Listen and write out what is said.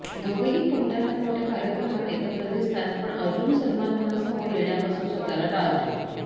दोघेही कोणत्या ना कोणत्या कार्यक्रमात एकत्र दिसतात पण अर्जुन सलमान खानसमोर येण्यापासून स्वतःला टाळतो